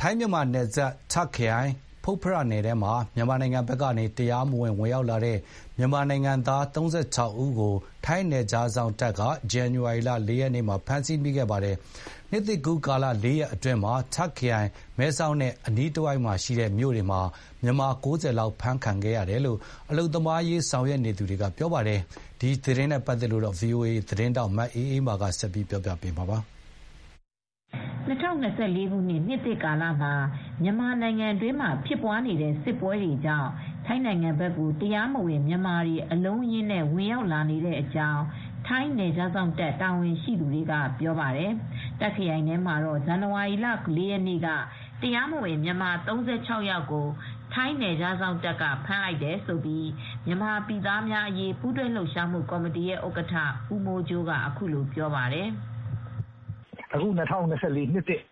ထိုင်းမြန်မာနယ်စပ် တာ့ခ်ခရိုင်၊ ဖွတ်ဖရမြို့နယ်ထဲမှာ မြန်မာနိုင်ငံဘက်ကနေ တရားမဝင် ဝင်ရောက်လာတဲ့ မြန်မာနိုင်ငံသား ၃၆ ဦးကို ထိုင်းနယ်ခြားစောင့်တပ်ကဇန်နဝါရီလ ၄ ရက်နေ့မှာ ဖမ်းမိပါတယ်။ နှစ်သစ်ကူးပြီးတဲ့ ၄ ရက်အတွင်း တာ့ခရိုင် မဲဆောက်နဲ့အနီးတဝိုက် မြို့နယ်တွေမှာ တရားမဝင်မြန်မာ ၉၀ လောက်ဖမ်းမိခဲ့တယ်လို့ အလုပ်သမားရေးဆောင်ရွက်နေသူတွေက ပြောပါတယ်။ ဒီသတင်းကို ဗွီအိုအေသတင်းထောက် မအေးအေးမာကသတင်းပေးပို့ထားပါတယ်။ ၂၀၂၄ ခုနှစ်၊ နှစ်သစ်ကာလမှာ မြန်မာနိုင်ငံတွင်းမှာဖြစ်နေတဲ့ စစ်ပွဲတွေကြောင့် ထိုင်းနိုင်ငံဘက်ကို မြန်မာနိုင်ငံသားတွေ တရားမဝင်လမ်းကြောင်းကနေ အလုံးအရင်းနဲ့ ဝင်ရောက် လာနေကြောင်း ထိုင်း နယ်ခြားစောင့်တပ် တာဝန်ရှိသူတွေကပြောပါတယ်။ တာခ့်ခရိုင်ထဲမှာတော့ ဇန်နဝါရီလ ၄ ရက်နေ့က တရားမဝင် မြန်မာ ၃၆ ယောက်ကို နယ်ခြားစောင့်တပ်က ဖမ်းလိုက်တယ်လို့ မြန်မာပြည်သားများအရေး ပူးတွဲလှုပ်ရှားမှုကော်မတီရဲ့ဥက္ကဋ္ဌ ဦးမိုးကြိုးကပြောပါတယ်။ "၂၀၂၄ နှစ်သစ်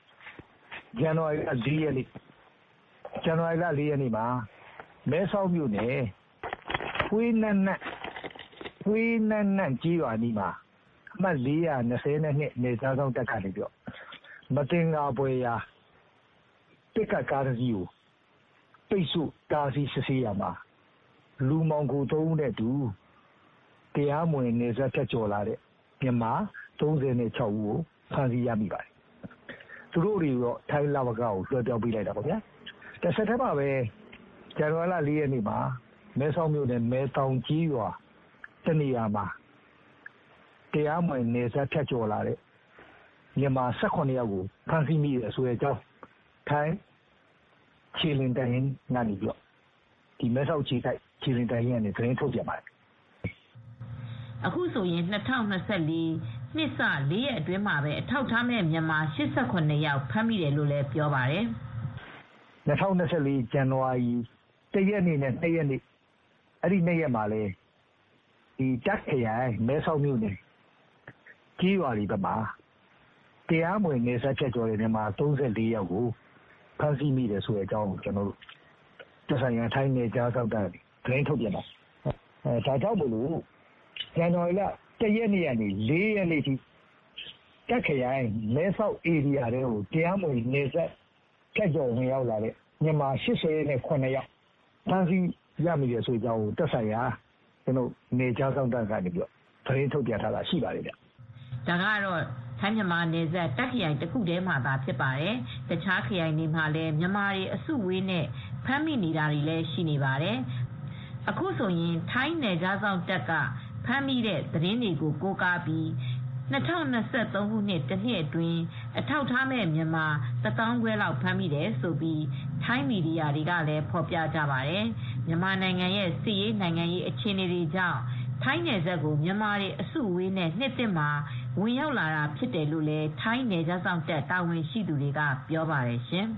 ဇန်နဝါရီ ၄ ရက်နေ့ နံနက်ပိုင်းက ထိုင်းမြန်မာနယ်စပ် မဲဆောက်အနီး ဖွတ်ဖရမြို့နယ် Huai Nam Nak Village ကျေးရွာအနီးမှာ အမှတ် ၄၂၂ နလေစမ်နယ်ခြားစောင့် တပ်ဖွဲ့ဝင်တွေက မသင်္ကာစရာ ပစ်ကပ်ကားသုံးစီးကို ပိတ်ဆို့ဖမ်းဆီးခဲ့တာမှာ လူပွဲစားသုံးဦး နဲ့အတူ ကားသုံးစီးပေါ်မှာ တရားမဝင်တင်ဆောင်လာတဲ့ အထောက်အထားမဲ့ မြန်မာ ၃၆ ဦးကို ဖမ်းဆီးရမိပါတယ်။ သူတို့တွေကို ထိုင်းလဝကကို လွှဲလိုက်ပါတယ်။ အလားတူပဲ ဒီကနေ့မနက်မှာပဲ မယ်သောင်ကျေးရွာမှာ တရားမဝင် လာရောက် လုပ်ကိုင်နေတဲ့ မြန်မာ ၁၇ ဦး ဖမ်းဆီးတဲ့အကြောင်း ထိုင်းနယ်ခြားစောင့်တပ်က သတင်းထုတ်ပြန်ပါတယ်။" အခုဆိုရင် ၂၀၂၄ နှစ်စ ၄ ရက်အတွင်းမှာပဲအထောက်အထားမဲ့မြန်မာ ၈၇ ယောက်ဖမ်းမိခဲ့တယ်လို့ ဆိုပါတယ်။ "၂၀၂၄ ခုနှစ်၊ ဇန်နဝါရီ ၁ ရက်နေ့နဲ့ ၂ ရက်နေ့မှာပဲ မဲဆောက်အနီး နယ်စပ်မှာ တရားမဝင် မြန်မာ ၃၄ ယောက်လောက်ကို ဖမ်းမိတယ်။ ဇန်နဝါရီလ ၁ ရက်နေ့ကနေ ၄ ရက်နေ့ထိ မဲဆောက်အနီးကို တရားမဝင် ဝင်ရောက်လာတဲ့မြန်မာ ၈၇ ယောက်ဖမ်းမိတယ်လို့ သက်ဆိုင်ရာ နယ်ခြားစောင့်တပ်က သတင်းထုတ်ပြန်ထားတာရှိပါတယ်။" ဒါကတော့ ထိုင်းမြန်မာနယ်စပ် တာခ့်ခရိုင်တခုတည်းမှာဖြစ်ပါတယ်။ တခြားခရိုင်တွေမှာလည်း မြန်မာတွေ အစုအဝေးနဲ့ဖမ်းမိနေတာတွေလည်း ရှိနေပါတယ်။ အခုဆိုရင် ထိုင်းနယ်ခြားစောင့်တပ်တွေဖမ်းမိတဲ့ သတင်းတွေကို ကိုးကားပြီး ၂၀၂၃ ခုနှစ် တနှစ်အတွင်း အထောက်အထားမဲ့မြန်မာ တသောင်းခွဲလောက်ဖမ်းမိတယ်လို့ ထိုင်းမီဒီယာတွေကလည်းဖော်ပြကြပါတယ်။ မြန်မာနိုင်ငံရဲ့စစ်ရေးနိုင်ငံရေးအခြေအနေတွေကြောင့် ထိုင်းနယ်စပ်ကို မြန်မာတွေအစုအဝေးနဲ့ နှစ်သစ်မှာဝင်ရောက်လာတာဖြစ်တယ်လို့လည်း ထိုင်းနယ်ခြားစောင့်တပ် တာဝန်ရှိသူတွေက ပြောပါတယ်ရှင်